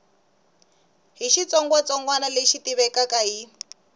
hi xitsongwatsongwana lexi tivekaka hi